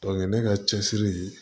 ne ka cɛsiri